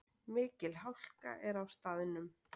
Mikil hálka er á staðnum